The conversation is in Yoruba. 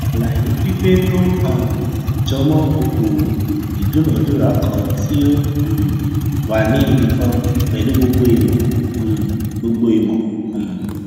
àlàyé pípé tó um jọmọ okòowò ìdúnadúrà kan tí ó um wà ní ibi kan pẹlú gbogbo ìmò um gbogbo ìmò um